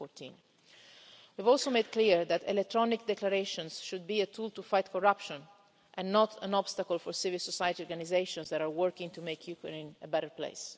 2014. We've also made clear that electronic declarations should be a tool to fight corruption, and not an obstacle for civil society organisations that are working to make Ukraine a better place.